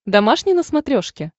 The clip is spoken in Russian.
домашний на смотрешке